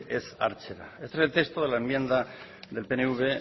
ez hartzera este es el texto de la enmienda del pnv